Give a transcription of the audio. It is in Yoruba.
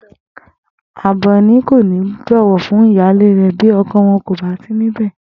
Àbè̩ní kò ní bò̩wò̩ fún ìyáálé rè̩ bí o̩ko̩ wo̩n kò bá sí níbè